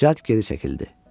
Cəld geri çəkildi.